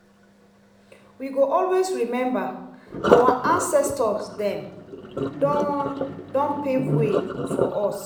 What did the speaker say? we go always remember our ancestors dem don don pave way for us.